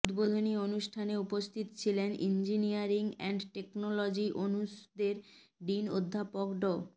উদ্বোধনী অনুষ্ঠানে উপস্থিত ছিলেন ইঞ্জিনিয়ারিং অ্যান্ড টেকনোলজী অনুষদের ডীন অধ্যাপক ড